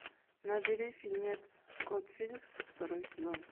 набери фильмец кот феликс второй сезон